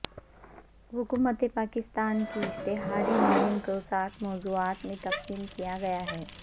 حکومت پاکستان کی اشتہاری مہم کو سات موضوعات میں تقسیم کیا گیا ہے